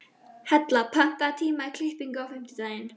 Hella, pantaðu tíma í klippingu á fimmtudaginn.